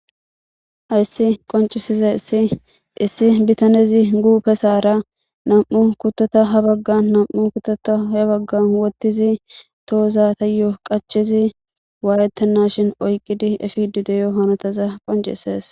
Hayisi qoniciizayis issi bitanezi huphesara ha baggara namu'u kuto he baggana wothizi tohozani qachidi wayetena efeyisa qoncisesi